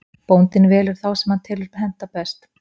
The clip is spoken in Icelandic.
Bóndinn velur þá sem hann telur henta best.